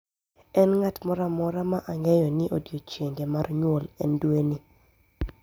en ng'at moramora ma ang'eyo ni odiochienge mar nyuol en dwe ni